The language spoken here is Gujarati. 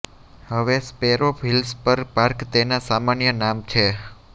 હવે સ્પેરો હિલ્સ પર પાર્ક તેના સામાન્ય નામ છે